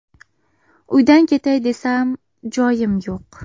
Uydan ketay desam, joyim yo‘q.